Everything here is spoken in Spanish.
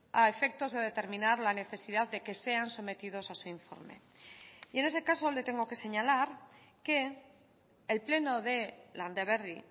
a efectos de determinar la necesidad de que sean sometidos a su informe y en ese caso le tengo que señalar que el pleno de landaberri